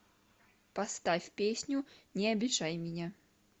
поставь песню не обижай меня